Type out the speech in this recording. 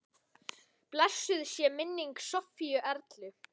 Blessuð sé minning Sofíu Erlu.